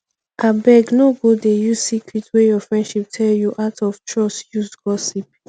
abeg no go dey use secret wey your friend tell you out of trust use gossip